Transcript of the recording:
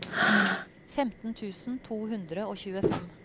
femten tusen to hundre og tjuefem